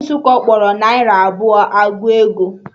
Ndị Nsukka kpọrọ naira abụọ ọgụ ego